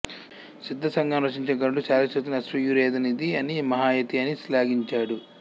సిద్ధ సంగ్రహమును రచించిన గణుడు శాలిహోత్రుని అశ్వాయుర్వేధనిధి అని మహాయతి అని శ్లాఘించాడు